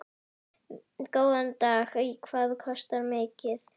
Góðan dag. Hvað kostar miðinn?